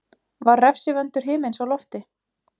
Var refsivöndur himins á lofti?